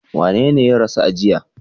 Wanene ya rasu a jiya?